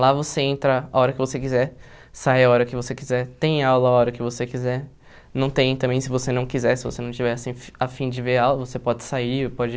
Lá você entra a hora que você quiser, sai a hora que você quiser, tem aula a hora que você quiser, não tem também se você não quiser, se você não tiver assim afim de ver aula, você pode sair, pode...